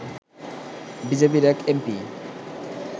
বিজেপির এক এমপি